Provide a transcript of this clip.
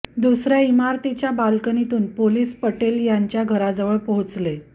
दुसऱ्या इमारतीच्या बालकनीतून पोलीस पटेल यांच्या घराजवळ पोहोचले